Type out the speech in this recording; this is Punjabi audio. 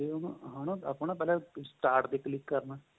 ਉਹਨੂੰ ਆਪਾਂ ਹੈਨਾ start ਤੇ click ਕਰਨਾ